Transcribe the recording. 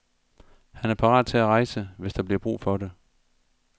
Han er parat til at rejse, hvis der bliver brug for det.